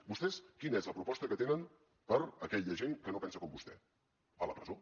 vostès quina és la proposta que tenen per a aquella gent que no pensa com vostè a la presó